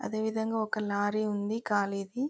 అదే విధంగా ఒక లారీ ఉంది కలిగ--